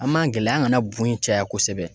An m'an gɛlɛya an kana bu in caya kosɛbɛ